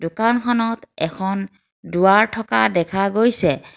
দোকানখনত এখন দুৱাৰ থকা দেখা গৈছে।